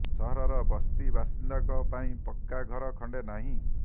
ସହରର ବସ୍ତି ବାସିନ୍ଦାଙ୍କ ପାଇଁ ପକ୍କା ଘର ଖଣ୍ଡେ ନାହିଁ